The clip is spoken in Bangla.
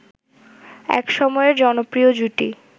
একসময়ের জনপ্রিয় জুটি